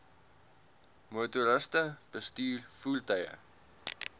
motoriste bestuur voertuie